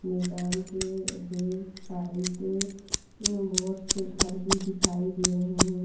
मैदान के back side बहुत से घर भी दिखाई दे रहे हैं।